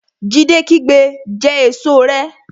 Jídé kígbe Jẹ èso rẹ!